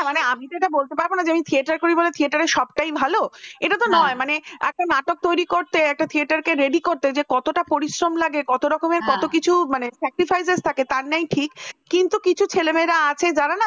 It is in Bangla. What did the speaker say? তারমানে আমি তো এটা বলতে পারব না যে যে theater করি বলে theater র সবটাই ভালো এটা তো নয় মানে একটা নাটক তৈরি করতে একটা theater কে ready করতে যে কতটা পরিশ্রম লাগে যে কত রকমের কত কিছু মানে হ্যাঁ sacrifice থাকে তার নেই ঠিক কিন্তু কিছু ছেলে মেয়েরা আছে যারা না?